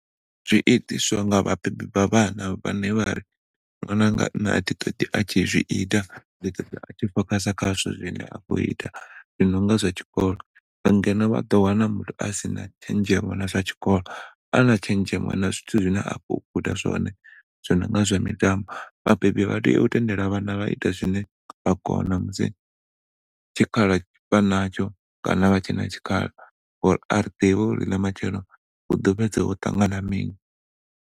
Zwi itiswa nga vha bebi vha vhana vhane vhari ṅwananga ṋne a thi ṱoḓi a tshi zwiita ndi ṱoḓa a tshi focus kha zwine a khou ita zwino nga zwa tshikolo ngeno vha ḓo wana muthu asina tshenzhemo na zwa tshikolo ana tshenzhemo na zwithu zwine a khou guda zwone zwononga zwa mitambo. Vhabebi vha tea u tendela vhana vha ita zwine vha kona musi tshikhala vhana tsho kana a vha tshena tshikhala uri a ri ḓivhi uri ḽa matshelo huḓo fhedza ho ṱangana mini.